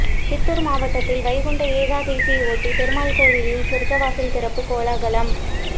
சித்தூர் மாவட்டத்தில் வைகுண்ட ஏகாதசியையொட்டி பெருமாள் கோயில்களில் சொர்க்கவாசல் திறப்பு கோலாகலம்